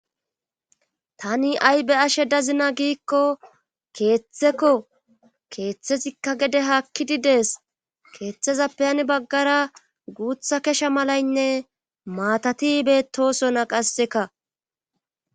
tani ha'i be'ashe dazina giikko keeththeko keeththetikka gede haakkididees keeththezappeyani baggara guutha kesha malaynne maatati betosona qasseka